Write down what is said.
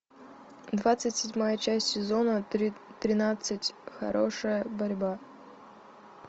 двадцать седьмая часть сезона тринадцать хорошая борьба